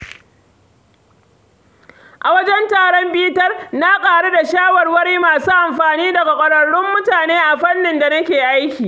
A wajen taron bitar, na ƙaru da shawarwari masu amfani daga ƙwararrun mutane a fannin da nake aiki.